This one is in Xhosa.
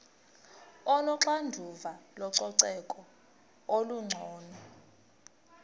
onoxanduva lococeko olungcono